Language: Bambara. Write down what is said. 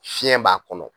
Fiɲɛ b'a kɔnɔ